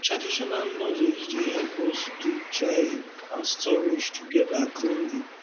traditional knowledge dey help us do drying and storage together cleanly